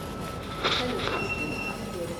салют включи руслана верина